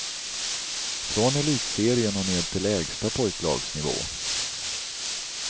Från elitserien och ned till lägsta pojklagsnivå.